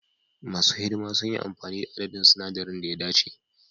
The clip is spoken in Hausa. Masu hidima sun yi amfani da adadin sinadaran da ya dace.